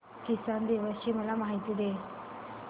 किसान दिवस ची मला माहिती दे